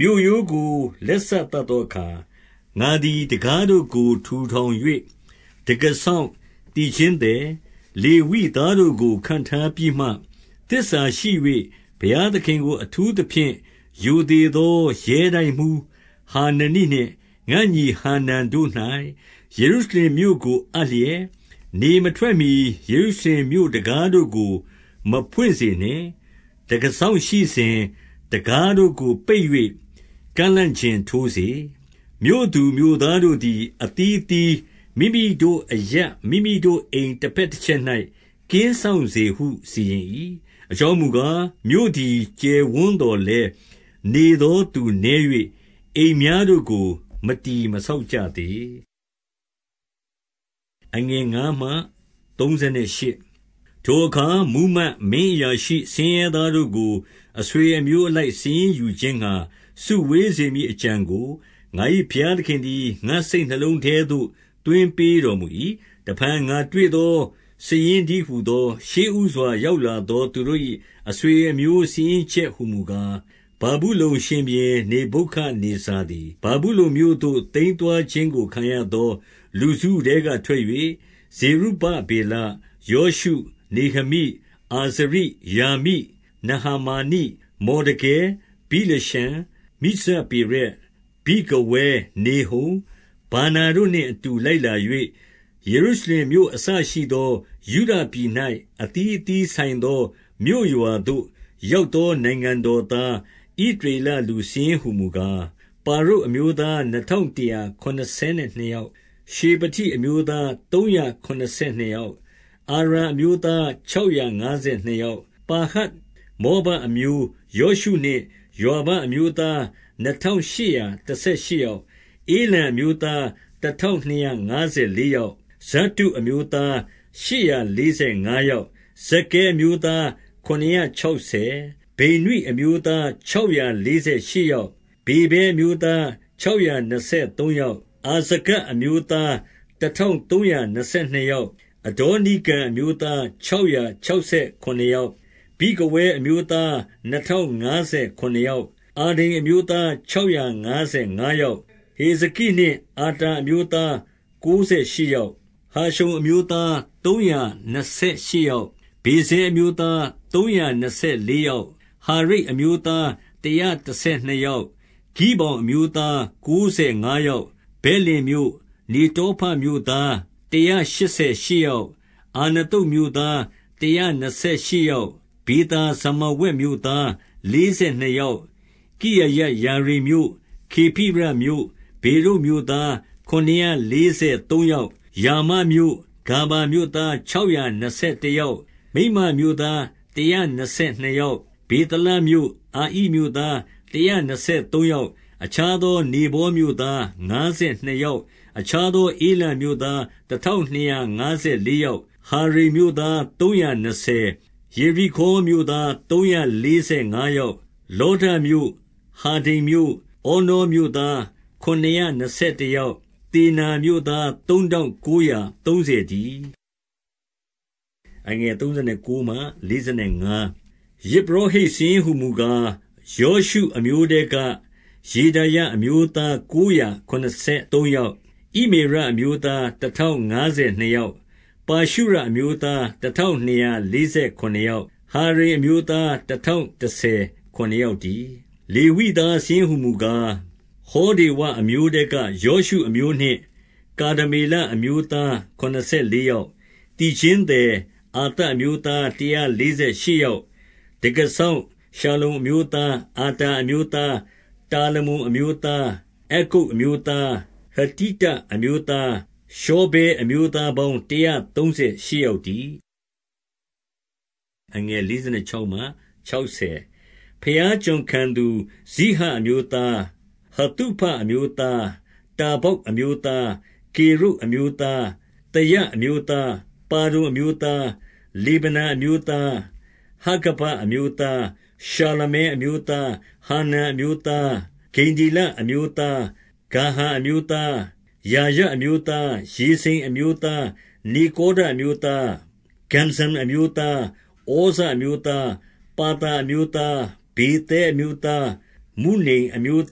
မြို့ရိုးကို လက်စသတ်သောအခါ၊ ငါသည် တံခါး တို့ကို ထူထောင်၍ တံခါးစောင့်၊ သီချင်းသည်၊ လေဝိသား တို့ကို ခန့်ထားပြီးမှ၊ 2 သစ္စာရှိ၍ ဘုရားသခင်ကို အထူးသဖြင့် ရိုသေ သော ရဲတိုက်မှူးဟာနနိနှင့် ငါ့ညီဟာနန်တို့၌ ယေရု ရှလင်မြို့ကို အပ်လျက်၊ 3 နေမထွက်မှီ ယေရုရှလင်မြို့တံခါးတို့ကို မဖွင့်စေ နှင့်။ တံခါးစောင့်ရှိစဉ်၊ တံခါးတို့ကို ပိတ်၍ ကန့်လန့်ကျင် ထိုးစေ။ မြို့သူမြို့သားတို့သည် အသီးအသီး မိမိတို့အရပ် မိမိတို့အိမ်တဘက်တချက်၌ ကင်းစောင့်စေဟု စီရင်၏။ 4 အကြောင်းမူကား၊ မြို့သည် ကျယ်ဝန်းသော် လည်း နေသောသူနည်း၍ အိမ်များတို့ကို မတည် မဆောက်ကြသေး 5 ထိုအခါမှူးမတ်၊ မင်းအရာရှိ၊ ဆင်းရဲသားတို့ကို အဆွေအမျိုးအလိုက် စာရင်းယူခြင်းငှါ စုဝေးစေမည် အကြံကို ငါ၏ဘုရားသခင်သည် ငါ့စိတ်နှလုံးထဲသို့ သွင်းပေးတော်မူ၏။ 6 တဖန်ငါတွေ့သောစာရင်းတည်းဟူသော၊ 7 ရှေ့ဦးစွာ ရောက်လာသောသူတို့၏ အဆွေ အမျိုးစာရင်းချက်ဟူမူကား၊ ဗာဗုလုန်ရှင်ဘုရင် နေဗုခဒ် နေဇာသည် ဗာဗုလုန်မြို့သို့ သိမ်းသွားခြင်းကို ခံရသော လူစုထဲက ထွက်၍ ဇေရုဗဗေလ၊ ယောရှု၊ နေဟမိ၊ အာဇရိ၊ ရာမိ၊ နာဟမာနိ၊ မော်ဒကဲ၊ ဗိလရှန်၊ မိဇပေရက်၊ ဗိဂဝဲ၊ နေဟုံ၊ ဗာနာတို့နှင့်အတူ လိုက်လာ၍ ယေရုရှလင် မြို့အစရှိသော ယုဒပြည်၌ အသီးအသီးဆိုင်သော မြို့ရွာ သို့ရောက်သော နိုင်ငံတော်သား၊ ဣသရေလလူစာရင်း ဟူမူကား၊ 8 ပါရုတ်အမျိုးသားနှစ်ထောင်တရာ ခုနစ်ဆယ် နှစ်ယောက်၊ 9 ရှေဖတိအမျိုးသားသုံးရာခုနစ်ဆယ်နှစ်ယောက်၊ 10 အာရာအမျိုးသား ခြောက်ရာငါးဆယ်နှစ် ယောက်၊ 11 ပါဟတ်မောဘအမျိုး၊ ယောရှုနှင့် ယွာဘ အမျိုး သားနှစ်ထောင်ရှစ်ရာ တဆယ်ရှစ်ယောက်၊ 12 ဧလံအမျိုးသား တထောင်နှစ်ရာ ငါးဆယ်လေး ယောက်၊ 13 ဇတ္တုအမျိုးသားရှစ်ရာလေးဆယ်ငါးယောက်၊ 14 ဇက္ခဲအမျိုးသား ခုနစ်ရာခြောက်ဆယ်၊ 15 ဗိနွိအမျိုးသား ခြောက်ရာလေးဆယ်ရှစ် ယောက်၊ 16 ဗေဗဲအမျိုးသား ခြောက်ရာနှစ်ဆယ်သုံးယောက်၊ 17 အာဇဂဒ်အမျိုးသား တထောင်သုံးရာနှစ်ဆယ် နှစ်ယောက်၊ 18 အဒေါနိကံအမျိုးသား ခြောက်ရာခြောက်ဆယ် ခုနစ်ယောက်၊ 19 ဗိဂဝဲအမျိုးသား နှစ်ထောင်ငါးဆယ်ခုနစ် ယောက်၊ 20 အာဒိန်အမျိုးသား ခြောက်ရာငါးဆယ်ငါး ယောက်၊ 21 ဟေဇကိနှင့် အာတာအမျိုးသား ကိုးဆယ်ရှစ် ယောက်၊ 22 ဟာရှုံအမျိုးသား သုံးရာနှစ်ဆယ်ရှစ်ယောက်၊ 23 ဗေဇဲအမျိုးသား သုံးရာနှစ်ဆယ်လေးယောက်၊ 24 ဟာရိပ်အမျိုးသား တရာတဆယ်နှစ်ယောက်၊ 25 ဂိဗောင်အမျိုးသား ကိုးဆယ်ငါးယောက်၊ 26 ဗက်လင်မြို့၊ နေတောဖမြို့သား တရာရှစ်ဆယ် ရှစ်ယောက်၊ 27 အာနသုတ်မြို့သား တရာနှစ်ဆယ်ရှစ်ယောက်၊ 28 ဗေသာဇမာဝက်မြို့သား လေးဆယ်နှစ်ယောက်၊ 29 ကိရယတ်ယာရိမ်မြို့၊ ခေဖိရမြို့၊ ဗေရုတ်မြို့သား ခုနစ်ရာလေးဆယ်သုံးယောက်၊ 30 ရာမမြို့၊ ဂါဗမြို့သား ခြောက်ရာနှစ်ဆယ် တယောက်၊ 31 မိတ်မတ်မြို့သား တရာနှစ်ဆယ်နှစ်ယောက်၊ 32 ဗေသလမြို့၊ အာဣမြို့သားတရာနှစ်ဆယ်သုံး ယောက်၊ 33 အခြားသော နေဗောမြို့သား ငါးဆယ်နှစ် ယောက်၊ 34 အခြားသော ဧလံမြို့သား တထောင်နှစ်ရာ ငါးဆယ် လေးယောက်၊ 35 ဟာရိမ်မြို့သား သုံးရာနှစ်ဆယ်၊ 36 ယေရိခေါမြို့သား သုံးရာလေးဆယ်ငါးယောက်၊ 37 လောဒမြို့၊ ဟာဒိဒ်မြို့၊ ဩနောမြို့သား ခုနစ်ရာ နှစ်ဆယ်တယောက်၊ 38 သောနာမြို့သား သုံးထောင်ကိုးရာ သုံးဆယ် တည်း။ 39 ယဇ်ပုရောဟိတ်စာရင်းဟူမူကား၊ ယောရှုအမျိုး ထဲက ယေဒါယအမျိုးသားကိုးရာ ခုနစ်ဆယ်သုံးယောက်၊ 40 ဣမေရအမျိုးသား တထောင်ငါးဆယ်နှစ် ယောက်၊ 41 ပါရှုရအမျိုးသား တထောင်နှစ်ရာ လေးဆယ် ခုနစ်ယောက်၊ 42 ဟာရိမ်အမျိုးသားတထောင် တဆယ်ခုနစ် ယောက်တည်း။ 43 လေဝိသားစာရင်းဟူမူကား၊ ဟောဒေဝအမျိုးထဲ က ယောရှုအမျိုးနှင့် ကာဒမေလအမျိုးသားခုနစ်ဆယ် လေးယောက်၊ 44 သီချင်းသည်၊ အာသပ်အမျိုးသား တရားလေး ဆယ်ရှစ်ယောက်၊ 45 တံခါးစောင့် ရှလ္လုံအမျိုးသား၊ အာတာအမျိုး သား၊ တာလမုန်အမျိုးသား၊ အက္ကုပ်အမျိုးသား၊ ဟတိတ အမျိုးသား၊ ရှောဗဲအမျိုးသားပေါင်း တရာသုံးဆယ်ရှစ် ယောက်တည်း။ 46 ဘုရားကျွန်ခံသူ၊ ဇိဟအမျိုးသား၊ ဟသုဖအမျိုး သား၊ တဗ္ဗောက်အမျိုးသား၊ 47 ကေရုတ်အမျိုးသား၊ သယအမျိုးသား၊ ပါဒုန် အမျိုးသား၊ 48 လေဗနအမျိုးသား၊ ဟာဂဗအမျိုးသား၊ ရှာလမဲ အမျိုးသား၊ 49 ဟာနန်အမျိုးသား၊ ဂိဒ္ဒေလအမျိုးသား၊ ဂါဟာ အမျိုးသား၊ 50 ရာယအမျိုးသား၊ ရေဇိန်အမျိုးသား၊ နေကောဒ အမျိုးသား၊ 51 ဂဇ္ဇမ်အမျိုးသား၊ ဩဇအမျိုးသား၊ ပါသာ အမျိုးသား၊ 52 ဗေသဲအမျိုးသား၊ မုနိမ်အမျိုး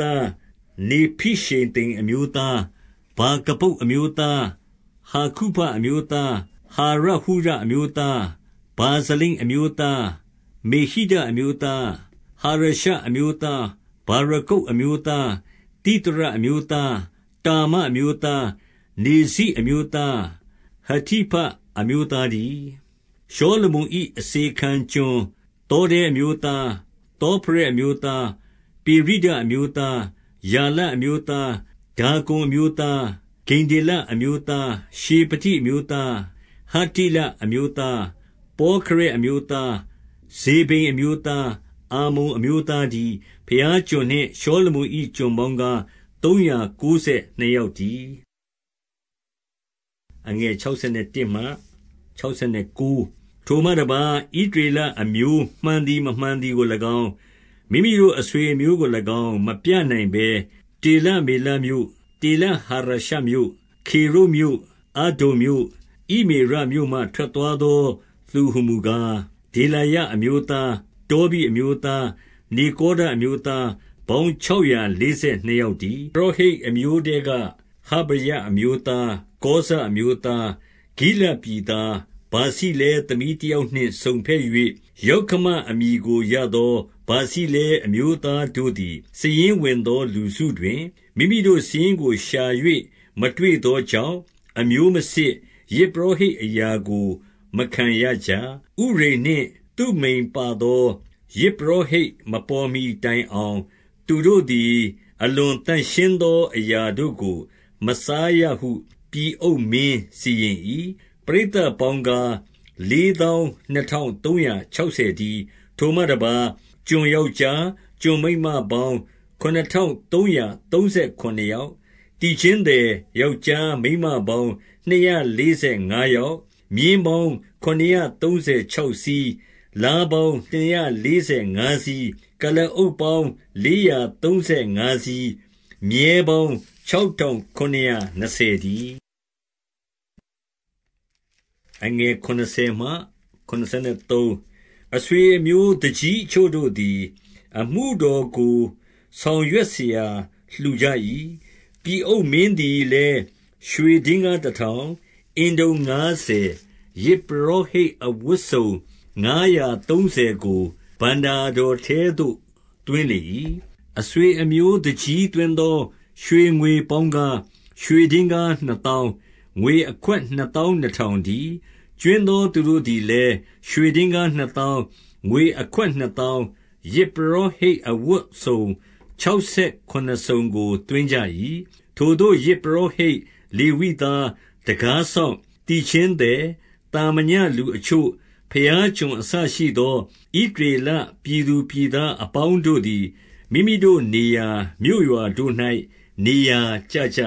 သား၊ နေဖိရှေသိမ် အမျိုးသား၊ 53 ဗာကဗုတ်အမျိုးသား၊ ဟာကုဖအမျိုးသား၊ ဟာရဟုရအမျိုးသား၊ 54 ဗာဇလိတ်အမျိုးသား၊ မေဟိဒအမျိုးသား၊ ဟာရရှအမျိုးသား၊ 55 ဗာရကုတ်အမျိုးသား၊ သိသရအမျိုးသား၊ တာမ အမျိုးသား၊ 56 နေဇိအမျိုးသား၊ ဟတိဖအမျိုးသားတည်း။ 57 ရှောလမုန်၏ အစေခံကျွန်၊ သောတဲအမျိုးသား၊ သောဖရက်အမျိုးသား၊ ပေရိဒအမျိုးသား 58 ယာလအမျိုးသား၊ ဒါကုန်အမျိုးသား၊ ဂိဒ္ဒေလ အမျိုးသား၊ 59 ရှေဖတိအမျိုးသား၊ ဟတ္တိလအမျိုးသား၊ ပေါခ ရက်အမျိုးသား၊ ဇေဗိမ်အမျိုးသား၊ အာမုန်အမျိုးသား တည်း။ 60 ဘုရားကျွန်နှင့် ရှောလမုန်၏ ကျွန်ပေါင်းကား၊ သုံးရာကိုးဆယ်နှစ်ယောက်တည်း။ 61 ထိုမှတပါး၊ ဣသရေလအမျိုးမှန်သည် မမှန် သည်ကို၎င်း၊ မိမိတို့အဆွေအမျိုးကို၎င်း မပြနိုင်ဘဲ တေလမေလမြို့၊ တေလဟာရရှမြို့၊ ခေရုပ်မြို့၊ အဒ္ဒုန်မြို့၊ ဣမေရမြို့မှ ထွက်သွားသော သူဟူမူကား၊ 62 ဒေလာယအမျိုးသား၊ ပေါင်းခြောက်ရာ လေးဆယ်နှစ်ယောက်တည်း။ 63 ယဇ်ပုရောဟိတ်အမျိုးထဲက ဟဗာယ အမျိုး သား၊ ကောဇအမျိုးသား၊ ဂိလဒ်ပြည်သား၊ ဗာဇိလဲ သမီးတယောက်နှင့် စုံဘက်၍ ယောက္ခမအမည်ကို ရသော ဗာဇိလဲအမျိုးသားတို့သည်၊ 64 စာရင်းဝင်သောလူစုတွင် မိမိတို့စာရင်းကိုရှာ၍ မတွေ့သောကြောင့်၊ အမျိုးမစစ်၊ ယဇ်ပုရောဟိတ်အရာ ကို မခံရကြ။ 65 ဥရိမ်နှင့် သုမိမ်ပါသော ယဇ်ပုရောဟိတ်မပေါ်မှီ တိုင်အောင် သူတို့သည် အလွန်သန့်ရှင်းသောအရာတို့ကို မစားရဟု ပြည်အုပ်မင်းစီရင်၏။ 66 ပရိသတ်ပေါင်းကား၊ လေးသောင်းနှစ်ထောင် သုံးရာခြောက်ဆယ်တည်း။ 67 ထိုမှတပါး၊ ကျွန်ယောက်ျား၊ ကျွန်မိန်းမပေါင်း ခုနစ်ထောင်သုံးရာသုံးဆယ်ခုနစ်ယောက်၊ သီချင်းသည် ယောက်ျား မိန်းမပေါင်းနှစ်ရာ လေးဆယ်ငါးယောက်၊ 68 မြင်းပေါင်းခုနစ်ရာသုံးဆယ်ခြောက်စီး၊ လား ပေါင်းနှစ်ရာ လေးဆယ်ငါးစီး၊ 69 ကုလားအုပ်ပေါင်း လေးရာသုံးဆယ်ငါးစီး၊ မြည်း ပေါင်း ခြောက်ထောင်ခုနစ်ရာနှစ်ဆယ်တည်း။ 70 အဆွေအမျိုးသူကြီးအချို့တို့သည် အမှုတော်ကို ဆောင်ရွက်စရာ လှူကြ၏။ ပြည်အုပ်မင်းသည်လည်း ရွှေဒင်္ဂါးတထောင်၊ အင်တုံငါးဆယ်၊ ယဇ်ပုရောဟိတ် အဝတ်စုံ ငါးရာသုံးဆယ်ကို ဘဏ္ဍာတော်ထဲသို့ သွင်းလေ ၏။ 71 အဆွေအမျိုးသူကြီးသွင်းသော ရွှေငွေပေါင်းကား၊ ရွှေဒင်္ဂါးနှစ်သောင်း၊ ငွေအခွက်နှစ်သောင်းနှစ်ထောင် တည်း။ 72 ကြွင်းသော သူတို့သည်လည်း ရွှေဒင်္ဂါးနှစ် သောင်း၊ ငွေအခွက်နှစ်သောင်း၊ ယဇ်ပုရောဟိတ် အဝတ်စုံခြောက်ဆယ်ခုနစ်စုံကို သွင်းကြ၏။ 73 ထိုသို့ ယဇ်ပုရောဟိတ်၊ လေဝိသား၊ တံခါးစောင့်၊ သီချင်းသည်၊ သာမညလူအချို့၊ ဘုရားကျွန်အစရှိသော ဣသရေလပြည်သူပြည်သားအပေါင်းတို့သည်၊ မိမိတို့ နေရာ မြို့ရွာတို့၌ နေရာကျကြ